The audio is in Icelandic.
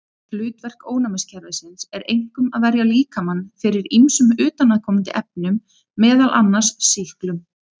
Hlutverk ónæmiskerfisins er einkum að verja líkamann fyrir ýmsum utanaðkomandi efnum, meðal annars sýklum.